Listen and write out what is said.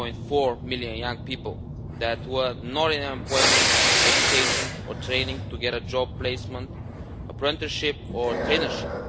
1.4 million young people who were not in employment, education or training to get a job placement, an apprenticeship or a traineeship.